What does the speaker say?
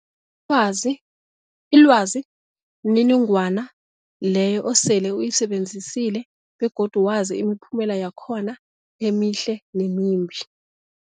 wazi ilwazi mniningwana leyo osele uyisebenzisile begodu wazi imiphumela yakhona emihle nemimbi.